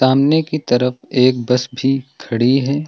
सामने की तरफ एक बस भी खड़ी है।